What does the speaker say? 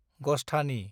गस्थानि